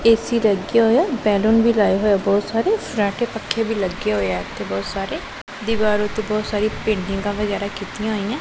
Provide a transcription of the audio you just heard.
AC ਲੱਗਿਆ ਹੋਇਆ ਹੈ ਬੈਲੂਨ ਵੀ ਲਾਏ ਹੋਏ ਹੈਂ ਬਹੁਤ ਸਾਰੇ ਫਰਾਟੇ ਪੰਖੇ ਵੀ ਲੱਗੇ ਹੋਏ ਹੈਂ ਇੱਥੇ ਬਹੁਤ ਸਾਰੇ ਦਿਵਾਰ ਓੱਤੇ ਬਹੁਤ ਸਾਰੀ ਪੇਂਟਿੰਗਾਂ ਵਗੈਰਾ ਕੀਤੀਆਂ ਹੋਈਆਂ।